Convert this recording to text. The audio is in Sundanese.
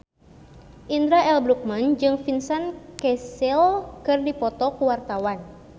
Indra L. Bruggman jeung Vincent Cassel keur dipoto ku wartawan